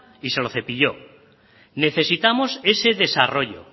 y se lo cepilló necesitamos ese desarrollo